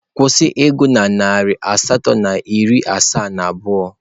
kwụsị ịgụ na narị asatọ na iri asaa na abụọ!.